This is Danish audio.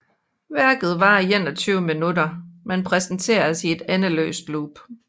Værket varer 21 minutter men præsenteres i et endeløst loop